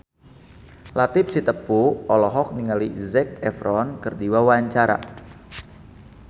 Latief Sitepu olohok ningali Zac Efron keur diwawancara